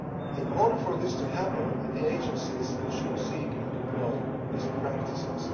In order for this to happen the agencies should seek and deploy best practices.